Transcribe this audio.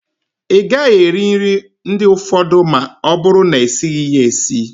Ịgaghị eri nri ndị ụfọdụ ma ọ bụrụ na-esighi ya esi